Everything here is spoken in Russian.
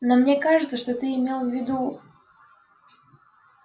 но мне кажется что ты имел в виду